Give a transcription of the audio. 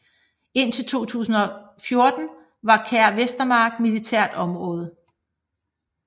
Indtil 2014 var Kær Vestermark militært område